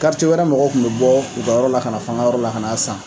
wɛrɛ mɔgɔw tun bɛ bɔ u ka yɔrɔ la kana f'an ŋa yɔrɔ la kan'a san